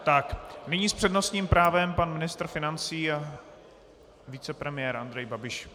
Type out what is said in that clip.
Tak nyní s přednostním právem pan ministr financí a vicepremiér Andrej Babiš.